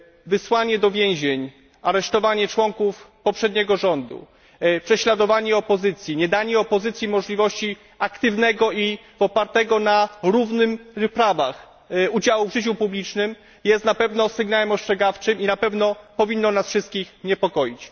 Wysłanie do więzień, aresztowanie członków poprzedniego rządu, prześladowanie opozycji, niedanie opozycji możliwości aktywnego i opartego na równych prawach udziału w życiu publicznym jest na pewno sygnałem ostrzegawczym i powinno nas wszystkich niepokoić.